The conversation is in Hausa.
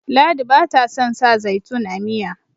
ladi ba ta son sa zaitun a Miya